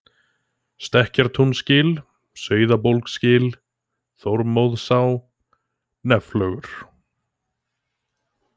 Stekkartúnsgil, Sauðabólsgil, Þormóðsá, Nefflögur